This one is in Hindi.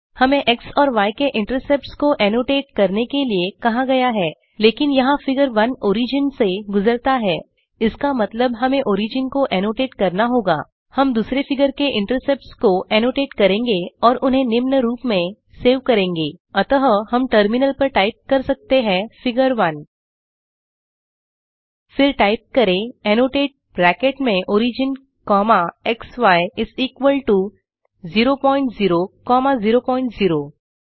हमें एक्स और य के इन्तेर्सप्ट्स को ऐनोटेट करने के लिए कहा गया है लेकिन यहाँ फिगर 1 ओरिजिन से गुजरता है इस का मतलब हमें ओरिजिन को ऐनोटेट करना होगा हम दूसरे फिगर के इंटरसेप्ट्स को ऐनोटेट करेंगे और उन्हें निम्न रूप में सेव करेंगे अतः हम टर्मिनल पर टाइप कर सकते हैं फिगर 1 फिर टाइप करें एनोटेट ब्रैकेट में origin comma xy is equal to 0 point 0 comma 0 point 0